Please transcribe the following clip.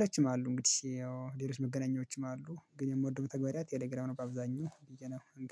ሌሎችም አሉ እንግዲህ ያው ሌሎች መገናኛዎችም አሉ ግን የምወደው መተግበሪያ ቴሌግራም ነው በአብዛኛው ነው